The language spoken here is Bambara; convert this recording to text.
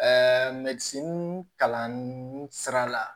Ɛɛ kalan sira la